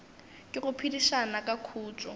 ke go phedišana ka khutšo